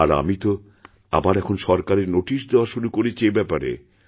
আর আমি তো আবার এখন সরকারে নোটিশ দেওয়া শুরু করেছি এ ব্যাপারে